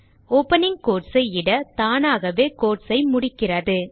opening quotes ஐ இட தானாகவே quotes ஐ முடிக்கிறது